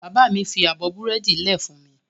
Bàbá mi fi abọ́ búrẹ́dì lẹ̀ fún mi.